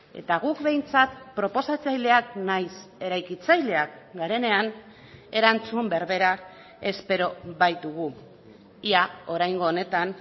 eta guk behintzat proposatzaileak nahiz eraikitzaileak garenean erantzun berbera espero baitugu ia oraingo honetan